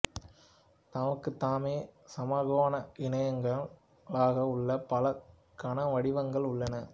தமக்குத் தாமே சமகோண இணையியங்களாக உள்ள பல கனவடிவங்கள் உள்ளன